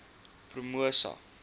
promosa